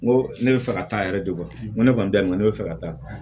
N ko ne bɛ fɛ ka taa yɛrɛ de n ko ne kɔni dayirimɛ ne bɛ fɛ ka taa